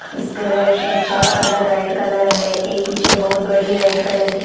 इसका red rickshaw का colour red colour है एक पीछे बहुत बड़ी रेड कलर की--